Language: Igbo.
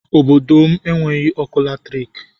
Obodo m enweghị ọkụ latriki